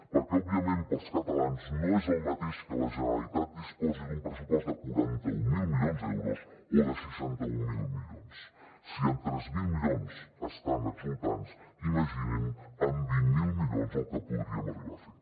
perquè òbviament per als catalans no és el mateix que la generalitat disposi d’un pressupost de quaranta mil milions d’euros o de seixanta mil milions si amb tres mil milions estan exultants imaginin amb vint miler milions el que podríem arribar a fer